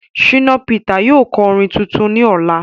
shina Peter yóò ko orin tuntun ní Ọla